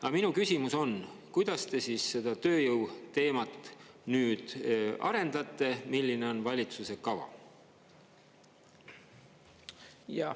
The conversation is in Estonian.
Aga minu küsimus on: kuidas te siis seda tööjõu teemat nüüd arendate, milline on valitsuse kava?